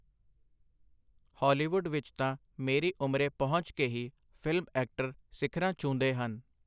Hollywood ਵਿਚ ਤਾਂ ਮੇਰੀ ਉਮਰੇ ਪਹੁੰਚ ਕੇ ਹੀ ਫਿਲਮ ਐਕਟਰ ਸਿਖਰਾਂ ਛੁੰਹਦੇ ਹਨ.